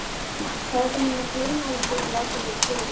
Sagði honum að gleyma þessu og láta mig í friði.